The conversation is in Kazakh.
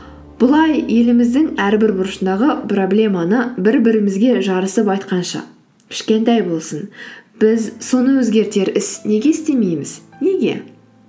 бұлай еліміздің әрбір бұрышындағы проблеманы бір бірімізге жарысып айтқанша кішкентай болсын біз соны өзгертер іс неге істемейміз неге